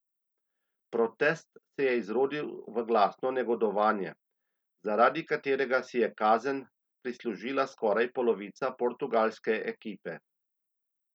Protest se je izrodil v glasno negodovanje, zaradi katerega si je kazen prislužila skoraj polovica portugalske ekipe.